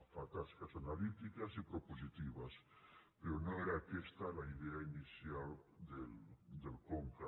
fa tasques analítiques i propositives però no era aquesta la idea inicial del conca